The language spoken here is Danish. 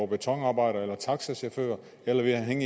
betonarbejder eller taxachauffør eller ville han